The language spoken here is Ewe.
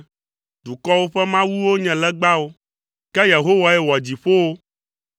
Dukɔwo ƒe mawuwo nye legbawo, ke Yehowae wɔ dziƒowo.